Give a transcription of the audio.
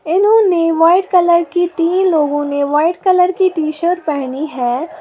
इन्होंने white colour की तीन लोगों ने व्हाइट कलर की टी शर्ट पहनी है।